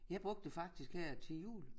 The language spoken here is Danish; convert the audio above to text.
Jeg bruge det faktisk her til jul